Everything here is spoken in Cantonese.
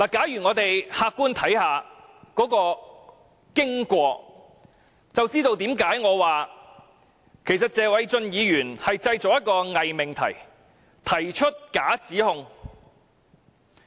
如果我們可以客觀地看看當天的經過，便知道為何我說謝偉俊議員正製造一個偽命題，提出假指控。